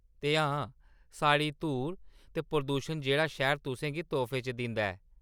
ते हां, सारी धूड़ ते प्रदूशन जेह्ड़ा शैह्‌र तुसें गी तोहफे च दिंदा ऐ।